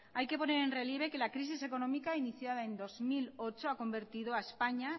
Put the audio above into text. hay que poner en relieve que la crisis económica iniciada en dos mil ocho ha convertido a españa